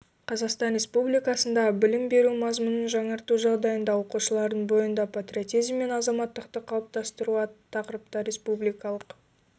қазақстан республикасындағы білім беру мазмұнын жаңарту жағдайында оқушылардың бойында патриотизм мен азаматтықты қалыптастыру атты тақырыпта республикалық